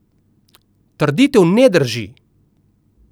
Trditev ne drži.